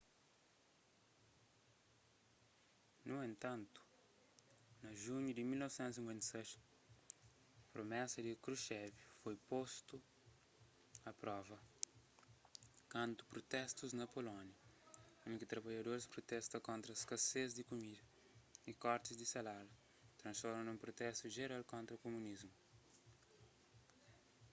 nu entantu na junhu di 1956 promesas di krushchev foi postu a prova kantu protestus na polónia undi ki trabadjadoris protesta kontra skases di kumida y korti di salarius transforma nun protestu jeral kontra kumunismu